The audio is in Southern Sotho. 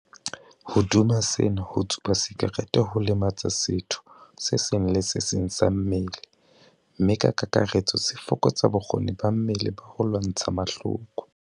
Hodima sena, ho tsuba sakerete ho lematsa setho se seng le se seng sa mmele mme ka kakaretso se fokotsa bokgoni ba mmele ba ho lwantsha mahloko.